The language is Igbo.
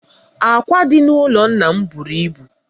Ákwá dị n'ụlọ nna m buru ibu.